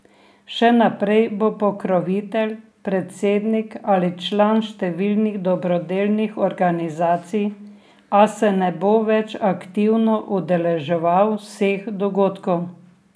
Še naprej bo pokrovitelj, predsednik ali član številnih dobrodelnih organizacij, a se ne bo več aktivno udeleževal vseh dogodkov.